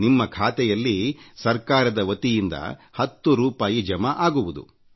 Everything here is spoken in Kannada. ನಿಮ್ಮ ಖಾತೆಯಲ್ಲಿ ಸರ್ಕಾರದ ವತಿಯಿಂದ 1೦ ರೂಪಾಯಿ ಜಮಾ ಆಗುವುದು